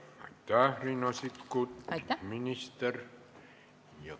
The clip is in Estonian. Aitäh, minister Riina Sikkut!